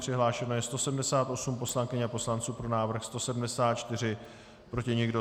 Přihlášeno je 178 poslankyň a poslanců, pro návrh 174, proti nikdo.